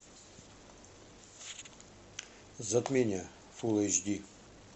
затмение фулл эйч ди